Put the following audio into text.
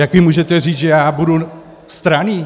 Jak vy můžete říct, že já budu stranný?